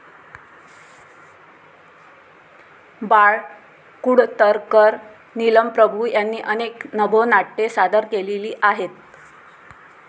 बाळ कुडतरकर, नीलम प्रभू यांनी अनेक नभोनाट्ये सादर केलेली आहेत.